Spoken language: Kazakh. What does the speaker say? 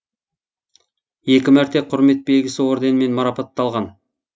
екі мәрте құрмет белгісі өрденімен марапатталған